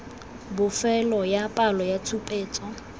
bofelo ya palo ya tshupetso